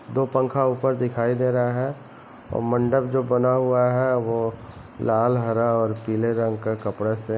दो पंखा ऊपर दिखाई दे रहा है और मंडप जो बना हुआ है वो लाल हरा और पीले रंग का कपड़ा से--